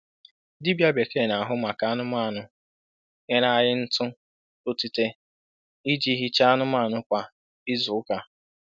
Dibịa bekee na-ahụ maka anụmanụ nyere anyị ntụ otite iji hichaa anụmanụ kwa izu ụka.